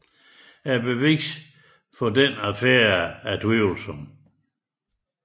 Beviset for denne affære er tvivlsomt